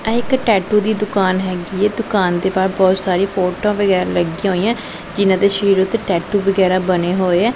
ਇਹ ਇੱਕ ਟੈਟੂ ਦੀ ਦੁਕਾਨ ਹੈਗੀ ਏ ਦੁਕਾਨ ਦੇ ਬਾਹਰ ਬਹੁਤ ਸਾਰੀ ਫੋਟੋਆਂ ਵਗੈਰਾ ਲੱਗੀਆਂ ਹੋਈਐਂ ਜਿਨ੍ਹਾਂ ਦੇ ਸ਼ਰੀਰ ਉੱਤੇ ਟੈਟੂ ਵਗੈਰਾ ਬਣੇ ਹੋਏ ਐ।